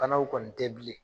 Banaw kɔni tɛ bilen